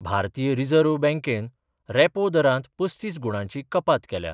भारतीय रीजर्व बँकेन रॅपो दरात पस्तीस गुणांची कपात केल्या.